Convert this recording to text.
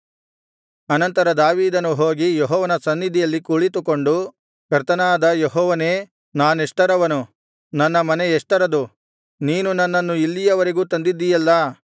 ಅನಂತರ ದಾವೀದನು ಹೋಗಿ ಯೆಹೋವನ ಸನ್ನಿಧಿಯಲ್ಲಿ ಕುಳಿತುಕೊಂಡು ಕರ್ತನಾದ ಯೆಹೋವನೇ ನಾನೆಷ್ಟರವನು ನನ್ನ ಮನೆ ಎಷ್ಟರದು ನೀನು ನನ್ನನ್ನು ಇಲ್ಲಿಯವರೆಗೂ ತಂದಿದ್ದಿಯಲ್ಲಾ